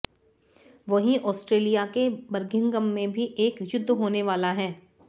वहीं ऑस्ट्रेलिया के बर्मिंघम में भी एक युद्ध होने वाला है